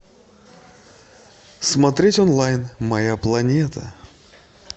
смотреть онлайн моя планета